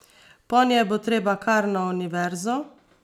Ponje bo treba kar na univerzo!